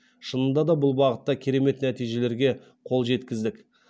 шынында да бұл бағытта керемет нәтижелерге қол жеткіздік